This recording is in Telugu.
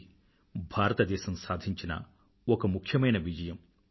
ఇది భారతదేశం సాధించిన ఒక ముఖ్యమైన విజయం